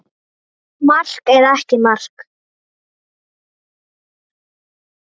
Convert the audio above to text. Kaldari sjór til bjargar humri?